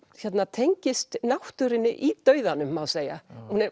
tengist náttúrunni í dauðanum má segja